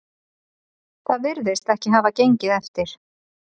Það virðist ekki hafa gengið eftir